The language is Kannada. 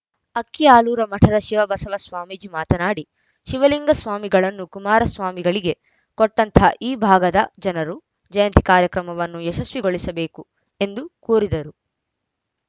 ಅಕ್ಕಿಆಲೂರ ಮಠದ ಶಿವಬಸವ ಸ್ವಾಮೀಜಿ ಮಾತನಾಡಿ ಶಿವಲಿಂಗ ಸ್ವಾಮಿಗಳನ್ನು ಕುಮಾರ ಸ್ವಾಮಿಗಳಿಗೆ ಕೊಟ್ಟಂತಹ ಈ ಭಾಗದ ಜನರು ಜಯಂತಿ ಕಾರ್ಯಕ್ರಮವನ್ನು ಯಶಸ್ವಿಗೊಳಿಸಬೇಕು ಎಂದು ಕೋರಿದರು